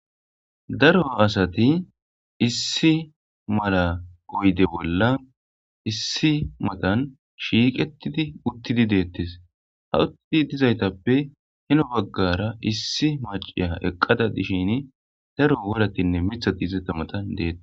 daro asati issi mala goyde bolla issi matan shiiqetidi uttidi deettes ha uttidi dizaytappe heno baggara issi maciya eqqada dishin daro woratinne mithat izetta matan deette.